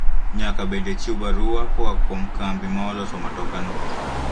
Nyaka bende ichiw barua koa kuom kambi ma oloso matoka no